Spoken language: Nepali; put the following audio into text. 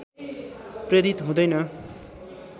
प्रेरित हुँदैन